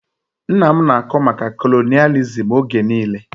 Nna m na-akọ maka kolonịalizim oge niile